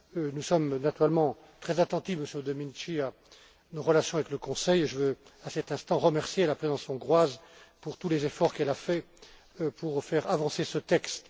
Nous sommes naturellement très attentifs, Monsieur Domenici, à nos relations avec le Conseil et je veux, à cet instant, remercier la présidence hongroise pour tous les efforts qu'elle a déployés pour faire avancer ce